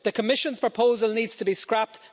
The Commission's proposal needs to be scrapped.